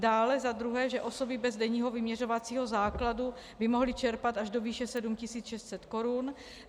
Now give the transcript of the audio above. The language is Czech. Dále za druhé, že osoby bez denního vyměřovacího základu by mohly čerpat až do výše 7 600 korun.